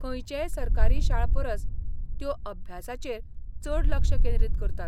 खंयचेय सरकारी शाळ परस त्यो अभ्यासाचेर चड लक्ष केंद्रीत करतात.